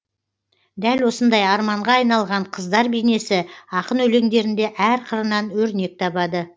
дәл осындай арманға айналған қыздар бейнесі ақын өлеңдерінде әр қырынан өрнек табады